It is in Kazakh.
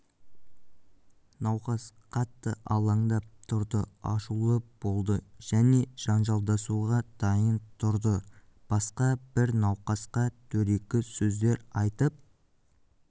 науқас қатты алаңдап тұрды ашулы болды және жанжалдасуға дайын тұрды басқа бір науқасқа дөрекі сөздер айтып